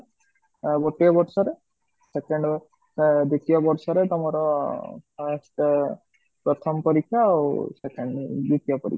ଆଁ ଗୋଟେ ବର୍ଷରେ second ଆଁ ଦ୍ଵିତୟ ବର୍ଷରେ ତମର first ପ୍ରଥମ ପରିକ୍ଷା ଆଉ second ଦ୍ଵିତୟ ପରିକ୍ଷା